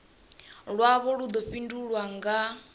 lwavho lu ḓo fhindulwa nga